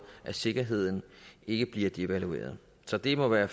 at sikkerheden ikke bliver devalueret så det må være